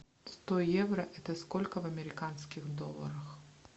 сто евро это сколько в американских долларах